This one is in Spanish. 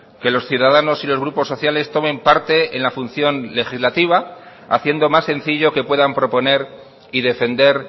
que los ciudadanos y los grupos sociales tomen parte en la función legislativa haciendo más sencillo que puedan proponer y defender